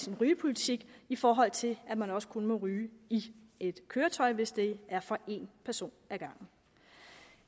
en rygepolitik i forhold til at man også kun må ryge i et køretøj hvis det er for en person ad gangen